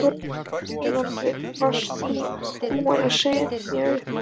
Jóhanna Margrét: Varst þú búin að segja upp?